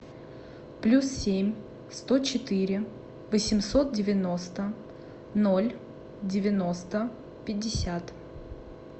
плюс семь сто четыре восемьсот девяносто ноль девяносто пятьдесят